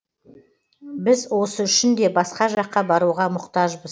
біз осы үшін де басқа жаққа баруға мұқтажбыз